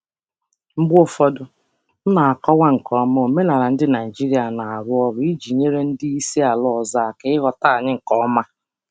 Mgbe ụfọdụ, ana m akọwa omenala ọrụ Naịjirịa nke ọma iji nyere ndị oga si mba ọzọ aka ịghọta anyị nke ọma.